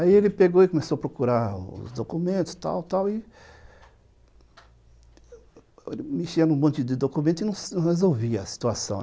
Aí ele pegou e começou a procurar os documentos, tal, tal, e... mexia num monte de documentos e não resolvia a situação.